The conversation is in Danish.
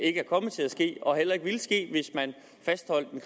ikke er kommet til at ske og heller ikke ville ske hvis man fastholdt